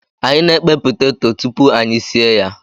Anyi na-ekpe peteto tupu anyị sie ya.